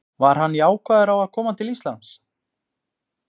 Var hann jákvæður á að koma til Íslands?